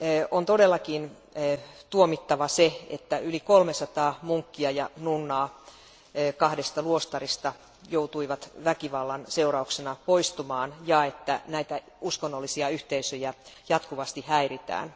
On todellakin tuomittava asia, että yli 300 munkkia ja nunnaa kahdesta luostarista joutui väkivallan seurauksena poistumaan ja että uskonnollisia yhteisöjä jatkuvasti häiritään.